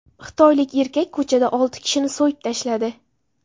Xitoylik erkak ko‘chada olti kishini so‘yib tashladi.